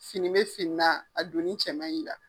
Fini bɛ fini na a donni cɛ man ɲ'i la.